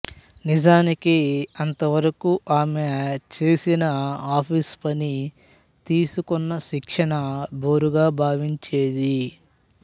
నిజానికి అంతవరకూ ఆమె చేసిన ఆఫీసు పని తీసుకున్న శిక్షణ బోరుగా భావించేది